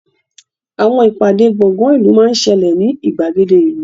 Àwọn ìpàdé gbọ̀ngán ìlú máa ń ṣẹlẹ̀ ní ìgbàgede ìlú